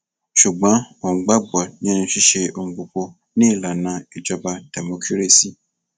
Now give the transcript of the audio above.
ṣùgbọn òun gbàgbọ nínú ṣíṣe ohun gbogbo ni ìlànà ìjọba dẹmọkírésì